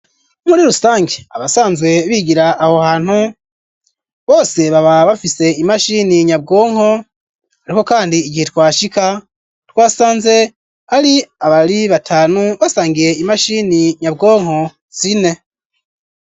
Muri rusangi abasanzwe bigira aho hantu bose baba bafise imashini nyabwonko ariko kandi igihe twashika twasanze ari abari batanu basangiye imashini nyabwonko zine.